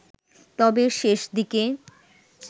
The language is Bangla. তবে শেষ দিকে